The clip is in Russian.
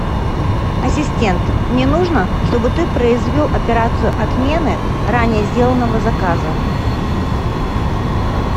ассистент мне нужно чтобы ты произвел операцию отмены ранее сделанного заказа